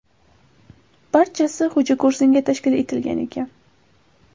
Barchasi xo‘jako‘rsinga tashkil etilgan ekan.